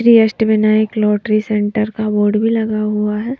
Shri Ashtavinayak lottery centre का board भी लगा हुआ है।